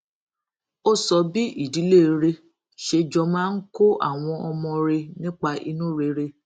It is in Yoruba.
ó sọ bí ìdílé rè ṣe jọ máa ń kó àwọn ọmọ rè nípa inú rere